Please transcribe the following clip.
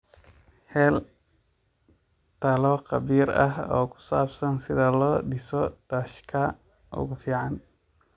Hel talo khabiir ah oo ku saabsan sida loo dhiso daashka ugu fiican.